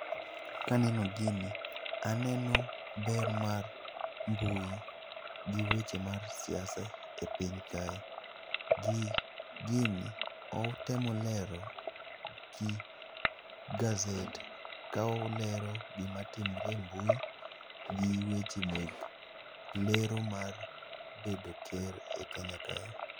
Kaneno gini, aneno ber mar mbui gi weche mar siasa e piny kae. Gini otemo lero gi gazet ka olero gima timre e mbui gi weche mek lero mar bedo ker e Kenya kae.